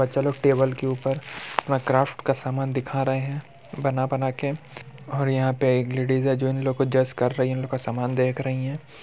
बच्चे लोग टेबल के ऊपर में अपना क्राफ्ट का सामान दिखा रहे है। बना बना के और यहाँ पे एक लेडिस है जो इन लोगो को जज कर रही है उनका सामान देख रही है।